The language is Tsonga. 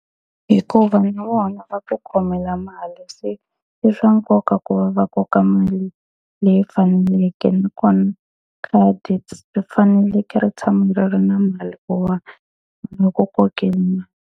Hikuva na vona va ku khomela mali se, i swa nkoka ku va va koka mali leyi faneleke. Nakona khadi ri faneleke ri tshama ri ri na mali ku va .